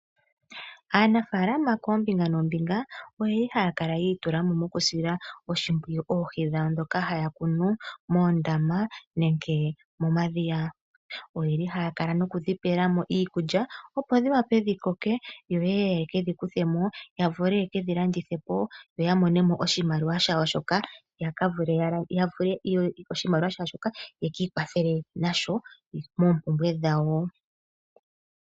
Aanafaalama koombinga noombinga oye li haya kala yi itula mo okusila oshimpwiyu oohi dhawo ndhoka haya kunu moondama nenge momadhiya. Oye li haye dhi pela mo iikulya opo dhi wape dhi koke yo ye ke dhi kuthe mo, ya vule ye kedhi landithe po, ya mone mo oshimaliwa dhawo shoka, ye ki ikwathele nasho moompumbwe dhawo.